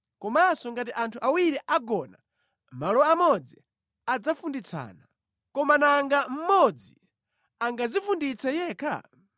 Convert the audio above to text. Komanso ngati anthu awiri agona malo amodzi, adzafunditsana. Koma nanga mmodzi angadzifunditse yekha?